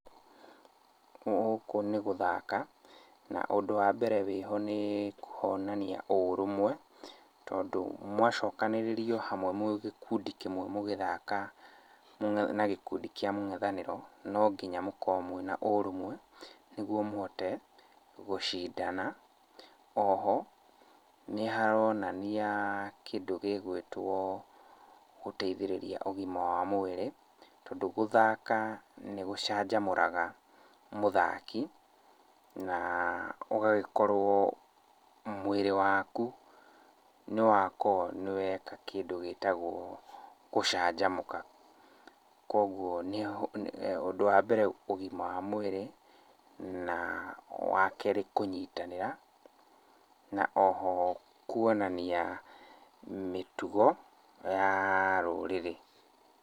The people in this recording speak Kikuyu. Gũkũ nĩ gũthaka, na ũndũ wa mbere wĩho nĩ, kũhonania ũrũmwe tondũ mwacokanĩrĩrio hamwe mwĩ gĩkundi kĩmwe mũgĩthaka na gĩkundi kĩa mũng'ethanĩro, no nginya mũkorwo mwĩna ũrũmwe nĩgwo mũhote gũcindana. Oho nĩ haronania kĩndũ gĩgwĩtwo, gũteithĩrĩria ũgima wa mwĩrĩ, tondũ gũthaka nĩ gũcanjamũraga mũthaki, na ũgagĩkorwo mwĩrĩ waku nĩ wakorwo nĩ weka kĩndũ gĩtagwo gũcanjamũka. Koguo nĩho, ũndũ ũgima wa mwĩrĩ, na wakerĩ kũnyitanĩra na oho kuonania mĩtugo ya rũrĩrĩ.